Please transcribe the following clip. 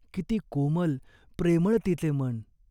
किती कोमल, प्रेमळ तिचे मन.